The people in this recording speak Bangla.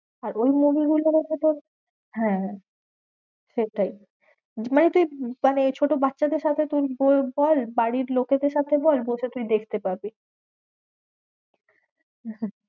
আর ওর movie গুলো দেখে তো হ্যাঁ হ্যাঁ সেটাই মানে তুই উম ছোট বাচ্চাদের সামনে তুই বল বাড়ির লোকেদের সাথে বল বসে তুই দেখতে পাবি।